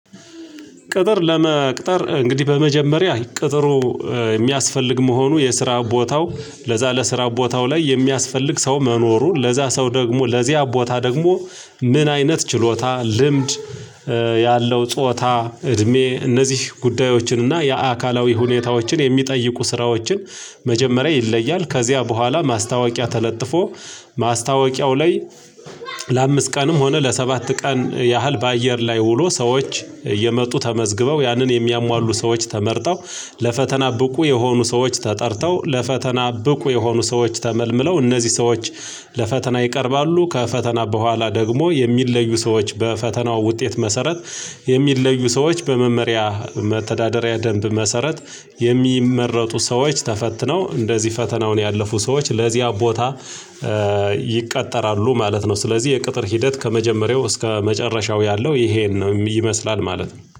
ቅጥር ለመቅጠር እንግዲህ በመጀመሪያ ቅጥሩ የሚያስፈልግ መሆኑ የስራ ቦታው ለዛ ለስራ ቦታው ላይ የሚያስፈልግ ሰው መኖሩን ለዛ ሰው ደግሞ ለዚያ ቦታ ደግሞ ምን አይነት ችሎታ ልምድ ያለው ጾታ እድሜ እነዚህ ጉዳዮችን እና የአካላዊ ሁኔታዎችን የሚጠይቁ ስራዎችን መጀመሪያ ይለያል ከዚያ በኋላ ማስታወቂያ ተለጥፎ ማስታወቂያው ላይ ለአምስት ቀንም ሆነ ለሰባት ቀን ያህል በአየር ላይ ውሎ ሰዎች የመጡ ተመዝግበው ያንን የሚያሟሉ ሰዎች ተመርጠው ለፈተና ብቁ የሆኑ ሰዎች ተጠርተው ለፈተና ብቁ የሆኑ ሰዎች ተመልምለው እነዚህ ሰዎች ለፈተና ይቀርባሉ ከፈተና በኋላ ደግሞ የሚለዩ ሰዎች በፈተናው ውጤት መሰረት የሚለዩ ሰዎች በመመሪያ መተዳደሪያ ደንብ መሰረት የሚመረጡ ሰዎች ተፈትነው እንደዚህ ፈተናውን ያለፉ ሰዎች ለዚያ ቦታ ይቀጠራሉ ማለት ነው። ስለዚህ የቅጥር ሂደት ከመጀመሪያው እስከ መጨረሻው ያለው ይሄን ነው ይመስላል ማለት ነው